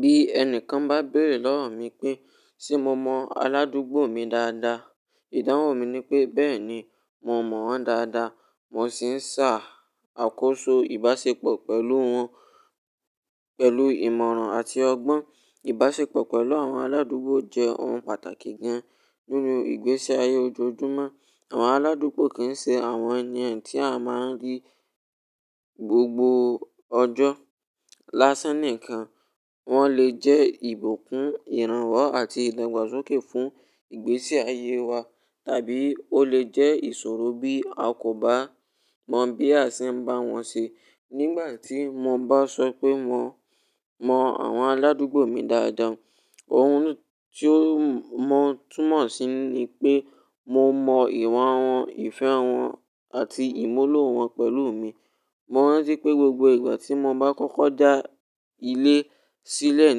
Bí ẹnìkan bá béèrè lọ́rùn mí pé, "Ṣé mo mọ aládùúgbò mi dáadáa?" Ìdáhùn mi ni pé, "Bẹ́ẹ̀ ni, mo mọ wọ́n dáadáa." Mo sì ń ṣà akóso ìbáṣepọ̀ pẹ̀lú wọ́n pẹ̀lú ìmọ̀ràn àti ọgbọ́n. Ìbáṣepọ̀ pẹ̀lú àwọn aládùúgbò jẹ́ ohun pàtàkì gan-an nínú ìgbésí ayé ojoojúmọ́. Àwọn aládùúgbò kì í ṣe àwọn ènìyàn tí a máa ń rí gbogbo ọjọ́ lásán nìkan. Wọ́n lè jẹ́ ìbùkún, ìrànwọ́ àti ìdàgbàsókè fún ìgbésí ayé wa, tàbí ó lè jẹ́ ìṣòro bí a kò bá mọ bí a ṣe ń bá wọn ṣe. Nígbà tí mo bá sọ pé mo mọ àwọn aládùúgbò mi dáadáa, ohun tó mọ̀ túmọ̀ sí ni pé mo mọ ìwà wọn, ìfẹ́ wọn àti ìmúlò wọn pẹ̀lú mi. Mo rántí pé gbogbo ìgbà tí mo bá kọ́kọ́ dá ilé sílẹ̀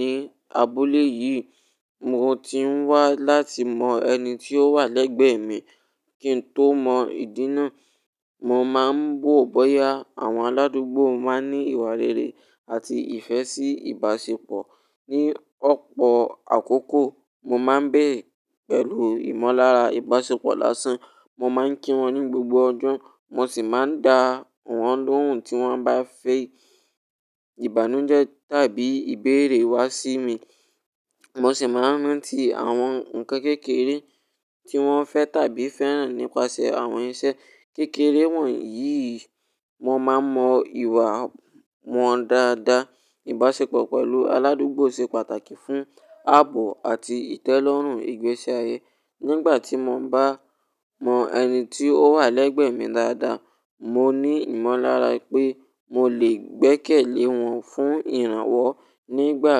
ní abúlé yìí, mo ti ń wá láti mọ ẹni tí ó wà lẹ́gbẹ̀ẹ́ mi kí n tó mọ ìdínna. Mo máa ń wo bọ́yá àwọn aládùúgbò máa ní ìwà rere àti ìfẹ́ sí ìbáṣepọ̀. Ni ọ̀pọ̀ àkókò, mo máa ń bẹ̀re pẹ̀lú ìmọ̀lára ìbáṣepọ̀ lásán. Mo máa ń kí wọn ní gbogbo ọjọ́, mo sì máa ń dá wọn lóhùn tí wọ́n bá fi ìbànújẹ́ tàbí ìbéèrè wá sí mi. Mo sì máa ń rántí àwọn ǹkan kékeré tí wọ́n fẹ́ tàbí fẹ́ràn nípasẹ̀ àwọn iṣẹ́ kékeré wọ̀nyí. Mo máa mọ ìwà wọn dáadáa. Ìbáṣepọ̀ pẹ̀lú aládùúgbò ṣe pàtàkì fún ààbò àti ìtẹ́lọ́rùn ìgbésí ayé. Nígbà tí mo bá mọ ẹni tí ó wà lẹ́gbẹ̀ẹ́ mi dáadáa, mo ní ìmọ̀lára pé mo lè gbẹ́kẹ̀lé wọn fún ìrànwọ́. Nígbà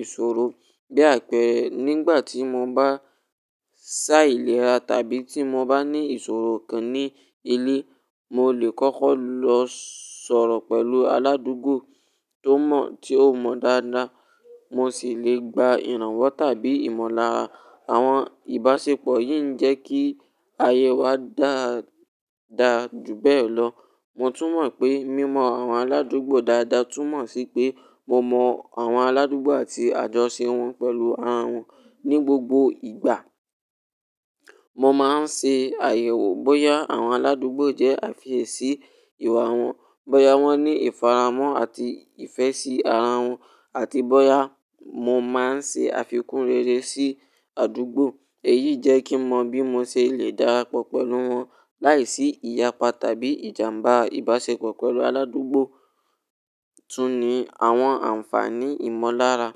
ìṣòro bí àpẹẹrẹ, nígbà tí mo bá ṣá ìlera tàbí tí mo bá ní ìṣòro kan ní ilé, mo lè kọ́kọ́ lọ sọ̀rọ̀ pẹ̀lú aládùúgbò tó mọ̀, tí ó mọ̀ dáadáa, mo sì lè gba ìrànwọ́ tàbí ìmọ̀lára. Àwọn ìbáṣepọ̀ yìí ń jẹ́ kí ayé wa dára jù bẹ́ẹ̀ lọ. Mo tún mọ̀ pé mímọ àwọn aládùúgbò dáadáa túnmọ̀ sí pé mo mọ àwọn aládùúgbò àti àjọṣe wọn pẹ̀lú ara wọn ní gbogbo ìgbà. Mo máa ń ṣe àyẹ̀wò bóyá àwọn aládùúgbò jẹ́ àfiyèsí ìwà wọn, bóyá wọ́n ní ìfaramọ̀ àti ìfẹ́ sí ara wọn, àti bóyá mo máa ń ṣe àfikún rere sí àdúgbò. Èyí jẹ́ kí mọ bí mo ṣe lè dára pọ̀ pẹ̀lú wọn láìsí ìyapa tàbí ìjàmbá. Ìbáṣepọ̀ pẹ̀lú aládùúgbò tún ní àwọn àǹfààní ìmọ̀lára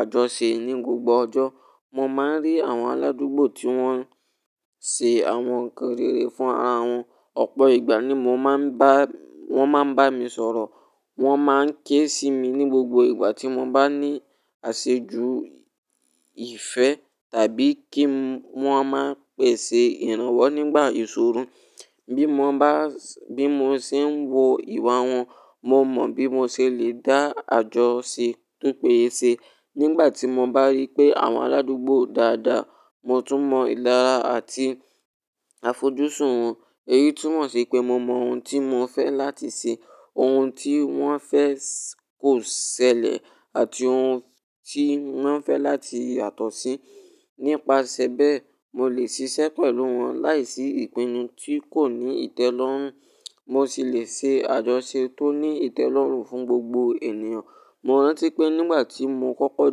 àjọṣe ní gbogbo ọjọ́. Mo máa ń rí àwọn aládùúgbò tí wọ́n ń ṣe àwọn ǹkan rere fún ara wọn. Ọ̀pọ̀ ìgbà ni mo máa ń bá-- wọ́n máa ń bá mi sọ̀rọ̀, wọ́n máa ń ké sí mi ní gbogbo ìgbà tí mo bá ní àṣejù ìfẹ́ tàbí kí wọ́n máa pèsè ìrànwọ́ nígbà ìṣòro. Bí mo bá-- bí mo ṣe ń wo ìwà wọn, mo mọ bí mo ṣe lè dá àjọṣe túpeye ṣe. Nígbà tí mo bá rí pé àwọn aládùúgbò dáadáa, mo tún mọ ìlára àti àfojúsùn wọn. Èyí túnmọ̀ sí pé mo mọ ohun tí wọ́n fẹ́ láti ṣe, ohun tí wọ́n fẹ́ kò ṣẹlẹ̀ àti ohun tí wọ́n fẹ́ láti yàtọ̀ sí. Nípasẹ̀ bẹ́ẹ̀, mo lè ṣiṣẹ́ pẹ̀lú wọn láìsí ìpinnu tí kò ní ìtẹ́lọ́rùn, mo sì lè ṣe àjọṣe tó ní ìtẹ́lọ́rùn fún gbogbo ènìyàn. Mo rántí pé nígbà tí mo kọ́kọ́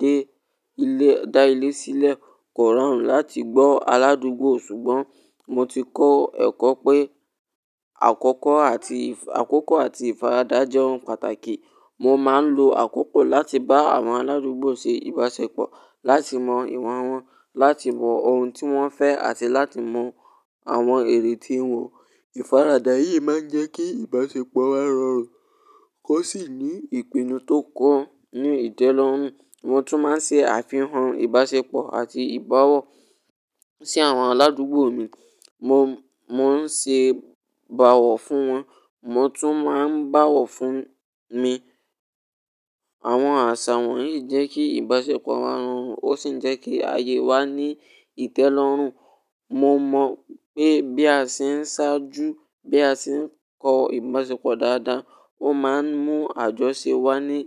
dé ilé, dá ilé sílẹ̀, kò rọrùn láti gbọ́ aládùúgbò ṣùgbọ́n mo ti kọ́ ẹ̀kọ́ pé àkọ́kọ́ àti ìf-- àkókò àti ìfaradà jẹ́ ohun pàtàkì. Mo máa ń lo àkókò láti bá àwọn aládùúgbò ṣe ìbáṣepọ̀, láti mọ ìwà wọn, láti mọ ohun tí wọ́n fẹ́ àti láti mọ àwọn èrè tí wọn. Ìfaradà yìí máa ń jẹ́ kí ìbáṣepọ̀ wa rọrùn, kó sì ní ìpinnu tó kọ́, ní ìtẹ́lọ́rùn. Mo tún máa ń ṣe àfihàn ìbáṣepọ̀ àti ìbáwọ̀ sí àwọn aládùúgbò mi. Mo, mo ń ṣe ìbáwọ̀ fún wọn, wọ́n tún máa ń báwọ̀ fún mi. Àwọn àṣà wọ̀nyí ń jẹ́ kí ìbáṣepọ̀ wa rọrùn ó sì ń jẹ́ kí ayé wa ní ìtẹ́lọ́rùn. Mo mọ̀ pé bí a ṣe ń sáájú, bí a ṣe ń kọ ìbáṣepọ̀ dáadáa, ó máa ń mú àjọṣe wá ní.